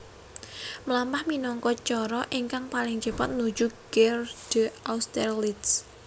Mlampah minangka cara ingkang paling cepet nuju Gare d Austerlitz